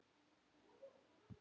Að vera jákvæð.